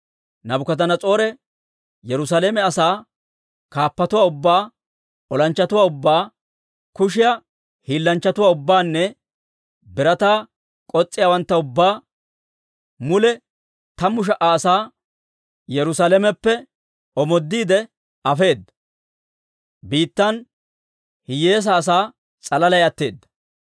Naabukadanas'oore Yerusaalame asaa, kaappatuwaa ubbaa, olanchchatuwaa ubbaa, kushiyaa hiillanchchatuwaa ubbaanne birataa k'os's'iyaawantta ubbaa, mule tammu sha"a asaa, Yerusalameppe omoodiide afeedda; biittan hiyyeesaa asaa s'alalay atteedda.